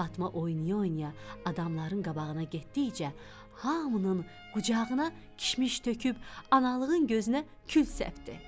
Fatma oynaya-oynaya adamların qabağına getdikcə hamının qucağına kişmiş töküb, analığın gözünə kül səpdi.